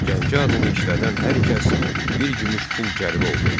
Gəncə adını işlədən hər kəs bir gümüş pul cərimə olunurdu.